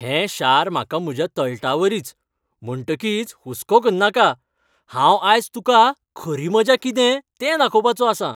हें शार म्हाका म्हज्या तळटावरीच. म्हणटकीच हुसको करनाका. हांव आयज तुका खरी मजा कितें तें दाखोवपाचों आसां.